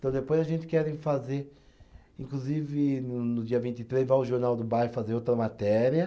Então, depois a gente quer fazer. Inclusive, no dia vinte e três, vai o Jornal do Bairro fazer outra matéria.